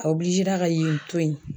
A ka yen to yen.